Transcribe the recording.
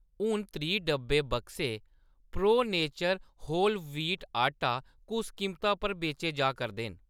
हून त्रीह् डब्बे, बक्से प्रो नेचर होल व्हीट आटा कुस कीमता पर बेचे जा करदे न ?